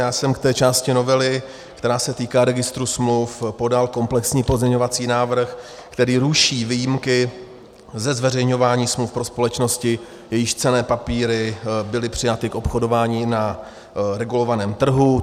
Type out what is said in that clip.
Já jsem k té části novely, která se týká registru smluv, podal komplexní pozměňovací návrh, který ruší výjimky ze zveřejňování smluv pro společnosti, jejichž cenné papíry byly přijaty k obchodování na regulovaném trhu.